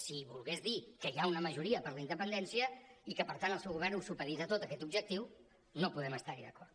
si volgués dir que hi ha una majoria per la independència i que per tant el seu govern ho supedita tot a aquest objectiu no podem estar hi d’acord